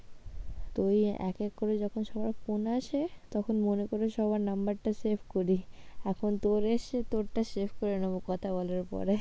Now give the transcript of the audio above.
তো ওই এক এক করে যখন সবার phone আসে তখন মনে করে সবার number টা save করি, এখন তোর এসেছে তোরটা save করে নেবো কথা বলার পরে।